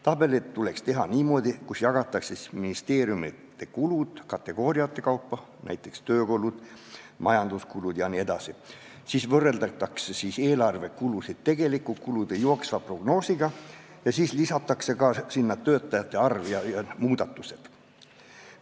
Tabelid tuleks teha niimoodi, et seal jagatakse ministeeriumite kulud kategooriate kaupa , võrreldakse eelarvekulusid tegelike kulude jooksva prognoosiga ning lisatakse sinna siis ka töötajate arv ja muudatused.